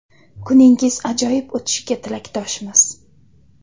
Kuningiz ajoyib o‘tishiga tilakdoshmiz.